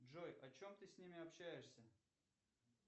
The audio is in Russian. джой о чем ты с ними общаешься